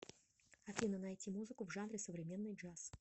афина найти музыку в жанре современный джаз